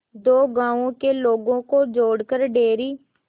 दो गांवों के लोगों को जोड़कर डेयरी